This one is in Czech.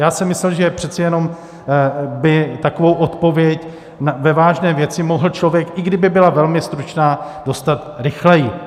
Já jsem myslel, že přeci jenom by takovou odpověď ve vážné věci mohl člověk, i kdyby byla velmi stručná, dostat rychleji.